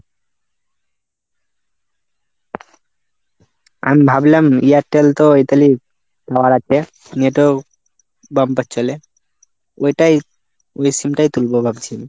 আমি ভাবলাম Airtel তো ইতালি হওয়ার আছে। net ও bumper চলে। ওটাই ঐ sim টাই তুলবো ভাবছি।